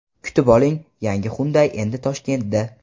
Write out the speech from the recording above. Kutib oling: Yangi Hyundai endi Toshkentda!.